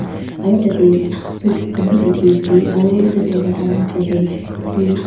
Aro tateh bricks khan bhi dekhey ase aro etu dorwaja la osor dae--